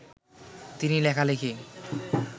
তিনি লেখালেখি